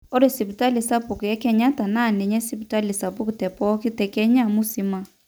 ore sipitali sapuk ekenyatta naa ninye sipitali sapuk tepooki te kenya musima